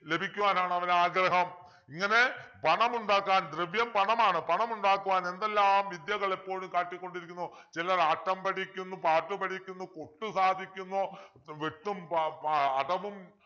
ലഭിക്കുവാനാണ് അവനാഗ്രഹം ഇങ്ങനെ പണമുണ്ടാക്കാൻ ദ്രവ്യം പണമാണ് പണമുണ്ടാക്കുവാൻ എന്തെല്ലാം വിദ്യകൾ എപ്പോളും കാട്ടിക്കൊണ്ടിരിക്കുന്നു ചിലർ ആട്ടം പഠിക്കുന്നു പാട്ട് പഠിക്കുന്നു കൊത്ത് സാധിക്കുന്നു വെട്ടും പ പാ അടവും